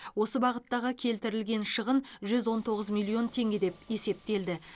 осы бағыттағы келтірілген шығын жүз он тоғыз миллион теңге деп есептелді